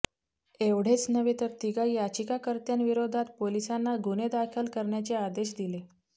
एवढेच नव्हे तर तिघा याचिकाकर्त्यांविरोधात पोलिसांना गुन्हे दाखल करण्याचे आदेश दिले